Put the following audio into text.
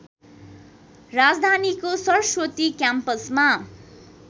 राजधानीको सरस्वती क्याम्पसमा